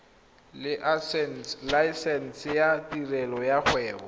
laesense ya tirelo ya kgwebo